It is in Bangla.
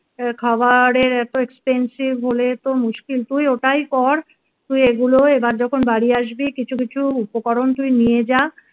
খাবারের এত expensive হলে তো মুশকিল তুই ওটাই কর তুই এগুলো এবার যখন বাড়ি আসবি কিছু কিছু উপকরণ তুই নিয়ে যা